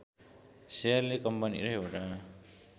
सेयरले company र एउटा